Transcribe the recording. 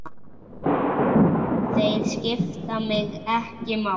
Þeir skipta mig ekki máli.